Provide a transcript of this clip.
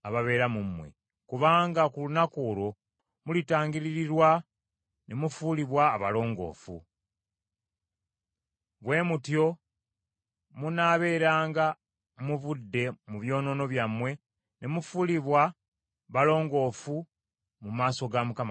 kubanga ku lunaku olwo mulitangiririrwa ne mufuulibwa abalongoofu. Bwe mutyo munaabeeranga muvudde mu byonoono byammwe ne mufuulibwa balongoofu mu maaso ga Mukama Katonda.